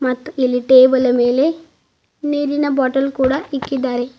ಮತ್ ಇಲ್ಲಿ ಟೇಬಲ್ ನ ಮೇಲೆ ನೀರಿನ ಬಾಟಲ್ ಕೂಡ ಇಕ್ಕಿದ್ದಾರೆ.